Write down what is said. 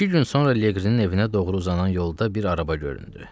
İki gün sonra Leqrinin evinə doğru uzanan yolda bir araba göründü.